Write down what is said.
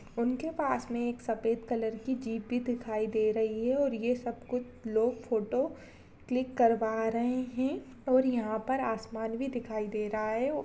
उनके पास में एक सफेद कलर की जीप भी दिखाई दे रही है और ये सब कुछ लोग फोटो क्लिक करवा रहे है और यहाँ पर आसमान भी दिखाई दे रहा है और --